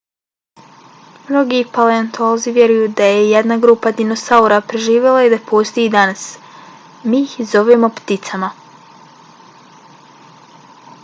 mnogi paleontolozi vjeruju da je jedna grupa dinosaura preživjela i da postoji i danas. mi ih zovemo pticama